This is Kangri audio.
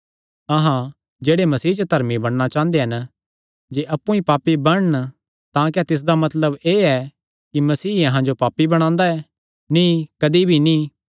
अहां जेह्ड़े मसीह च धर्मी बणना चांह़दे हन जे अप्पु ई पापी बणन तां क्या तिसदा मतलब एह़ ऐ कि मसीह अहां जो पापी बणांदा ऐ नीं कदी भी नीं